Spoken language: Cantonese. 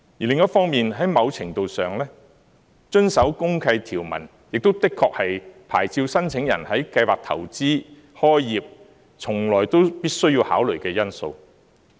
另一方面，在某程度上，遵守公契條文，亦的確是牌照申請人在計劃投資、開業時一向必須考慮的因素。